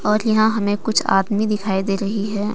और यहां हमें कुछ आदमी दिखाई दे रही है।